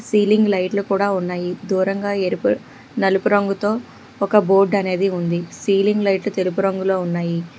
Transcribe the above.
Ceiling లైట్లు కూడా ఉన్నాయి దూరంగా ఎరుపు నలుపు రంగుతో ఒక బోర్డ్ అనేది ఉంది సీలింగ్ లైట్లు తెలుపు రంగులో ఉన్నాయి.